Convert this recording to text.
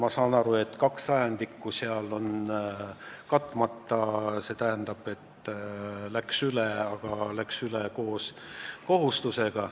Ma saan aru, et kaks sajandikku on katmata, õigemini see raha läks üle, aga läks üle koos kohustusega.